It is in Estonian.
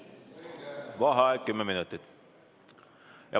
Vaheaeg kümme minutit.